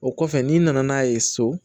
O kɔfɛ n'i nana n'a ye so